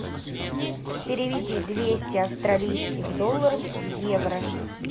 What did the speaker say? переведи двести австралийских долларов в евро